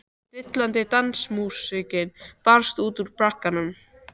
Dillandi dansmúsíkin barst út úr bragganum.